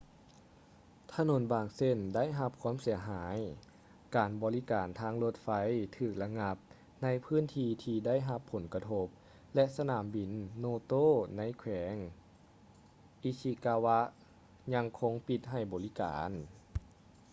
ຖະໜົນບາງເສັ້ນໄດ້ຮັບຄວາມເສຍຫາຍ ການບໍລິການທາງລົດໄຟຖືກລະງັບໃນພື້ນທີ່ທີ່ໄດ້ຮັບຜົນກະທົບ ແລະ ສະໜາມບິນ noto ໃນແຂວງ ishikawa ຍັງຄົງປິດໃຫ້ບໍລິການ